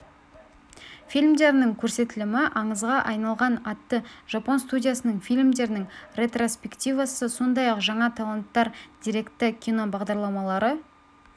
фильмдерінің көрсетілімі аңызға айналған атты жапон студиясының фильмдірінің ретроспективасы сондай-ақ жаңа таланттар деректі кино бағдарламалары